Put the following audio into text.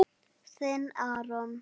Þinn, Aron.